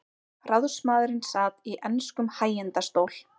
Ráðsmaðurinn sat í enskum hægindastól.